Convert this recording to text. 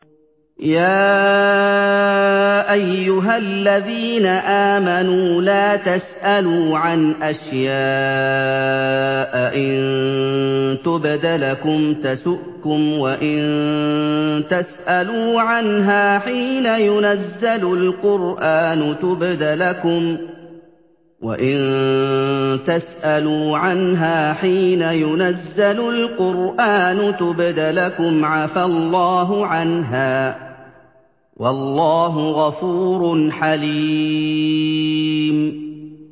يَا أَيُّهَا الَّذِينَ آمَنُوا لَا تَسْأَلُوا عَنْ أَشْيَاءَ إِن تُبْدَ لَكُمْ تَسُؤْكُمْ وَإِن تَسْأَلُوا عَنْهَا حِينَ يُنَزَّلُ الْقُرْآنُ تُبْدَ لَكُمْ عَفَا اللَّهُ عَنْهَا ۗ وَاللَّهُ غَفُورٌ حَلِيمٌ